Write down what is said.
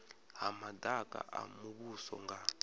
ha madaka a muvhuso nga